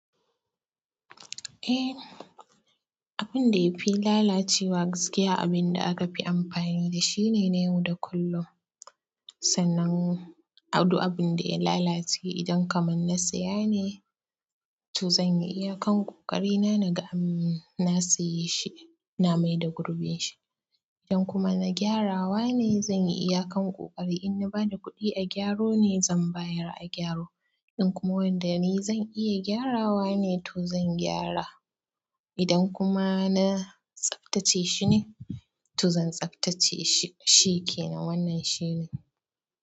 Ehh, abinda ya fi lalacewa gaskiya abinda aka fi amfani da shi ne na yau da kullum. Sannan, abu abinda ya lalace idan kaman na siya ne, to zan iyakan ƙoƙari na na ga na siye shi, na maida gurbin shi. Idan kuma na gyarawa ne zan iyakan ƙoƙari, in na bada kuɗi a gyaro ne zan bayar a gyaro. In kuma wanda ni zan iya gyarawa ne to zan gyara. Idan kuma na tsaftace shi ne to zan tsaftace shi, shikenan wannan shine.